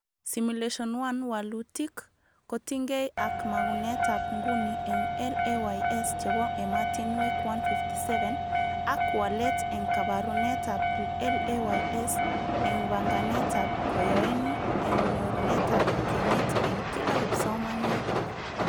Simulation 1 walutik kotingee ak mogunetab nguni eng LAYS chebo ematinwek 157,ak walet eng kabarunetab LAYS eng banganetab koyoeni eng nyorunetab kenyit eng kila kipsomaniat